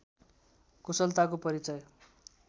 कुशलताको परिचय